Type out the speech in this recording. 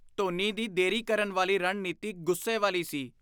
ਧੋਨੀ ਦੀ ਦੇਰੀ ਕਰਨ ਵਾਲੀ ਰਣਨੀਤੀ ਗੁੱਸੇ ਵਾਲੀ ਸੀ।